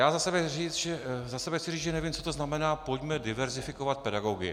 Já za sebe chci říct, že nevím, co to znamená "pojďme diverzifikovat pedagogy".